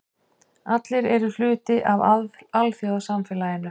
Allir eru hluti af alþjóðasamfélaginu.